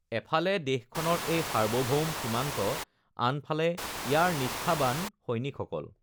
এফালে দেশখনৰ এই সাৰ্বভৌম সীমান্ত, আনফালে ইয়াৰ নিষ্ঠাবান সৈনিকসকল!